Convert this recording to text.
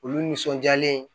Olu nisɔndiyalen